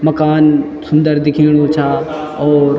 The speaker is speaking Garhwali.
मकान सुन्दर दिख्येणु चा और।